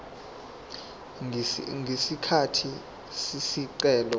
ngesikhathi isicelo sakhe